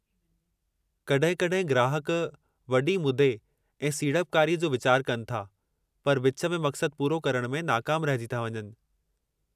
कॾहिं कॾहिं ग्राहक वॾी मुदे ऐं सीड़पकारीअ जो विचार कनि था पर विच में मक़सदु पूरो करण में नाकामु रहिजी था वञनि।